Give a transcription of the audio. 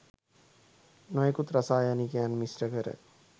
නොයකුත් රසායනිකයන් මිශ්‍ර කර